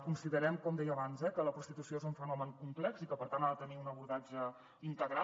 considerem com deia abans eh que la prostitució és un fenomen complex i que per tant ha de tenir un abordatge integral